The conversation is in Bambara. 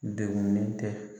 dɛgunnen tɛ.